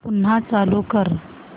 पुन्हा चालू कर